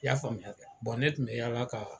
I y'a faamuya kɛ ne tun bɛ yaala ka